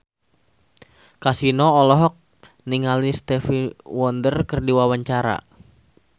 Kasino olohok ningali Stevie Wonder keur diwawancara